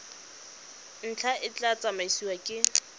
ntlha e tla tsamaisiwa ke